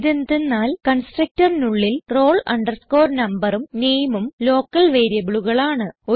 ഇതെന്തന്നാൽ constructorനുള്ളിൽ roll numberഉം nameഉം ലോക്കൽ വേരിയബിളുകളാണ്